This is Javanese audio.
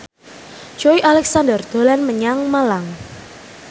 Joey Alexander dolan menyang Malang